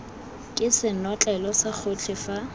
ke senotlele sa gotlhe fa